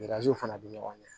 fana bɛ ɲɔgɔn ye